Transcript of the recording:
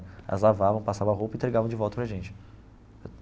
Elas lavavam, passavam a roupa e entregavam de volta para a gente.